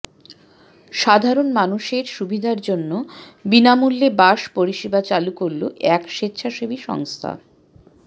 সাধারণ মানুষের সুবিধার জন্য বিনামূল্যে বাস পরিষেবা চালু করল এক স্বেচ্ছাসেবী সংস্থা